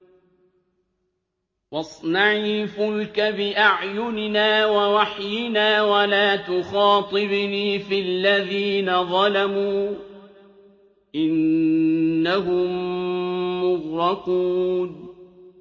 وَاصْنَعِ الْفُلْكَ بِأَعْيُنِنَا وَوَحْيِنَا وَلَا تُخَاطِبْنِي فِي الَّذِينَ ظَلَمُوا ۚ إِنَّهُم مُّغْرَقُونَ